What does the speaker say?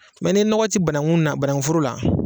Mɛ ne nɔgɔ ti banangu min na banangu foro la